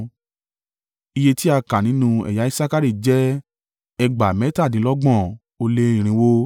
Iye tí a kà nínú ẹ̀yà Isakari jẹ́ ẹgbàá mẹ́tàdínlọ́gbọ̀n ó lé irinwó (54,400).